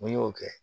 N ko n y'o kɛ